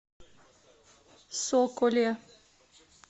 соколе